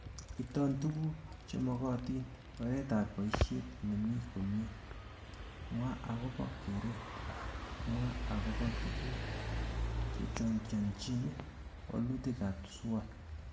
Iton tuguk chemekotin, oretab boishet nemi komie, mwaa akobo keret, ak mwaa akobo tuguk chechongianchii walutikab SWOT